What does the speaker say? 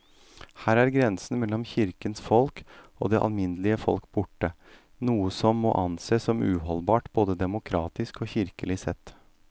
Her er grensen mellom kirkens folk og det alminnelige folk borte, noe som må ansees som uholdbart både demokratisk og kirkelig sett.